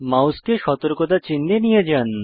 মাউসকে সতর্কতা চিহ্ন এ নিয়ে যান